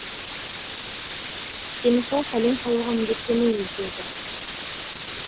сені сол сәлем салуға міндеттемейміз деді